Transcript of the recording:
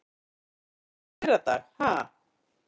Í þinginu í fyrradag ha?